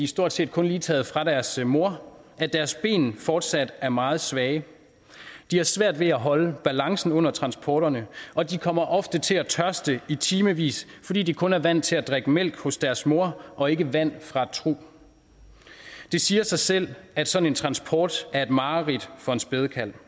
stort set kun lige taget fra deres mor at deres ben fortsat er meget svage de har svært ved at holde balancen under transporterne og de kommer ofte til tørste i timevis fordi de kun er vant til at drikke mælk hos deres mor og ikke vand fra et trug det siger sig selv at sådan en transport er et mareridt for en spædekalv